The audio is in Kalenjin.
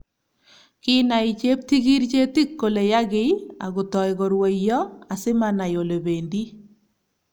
Kinai cheptikirchetik kole yakiy akotou korwaiyo asimanai olebendi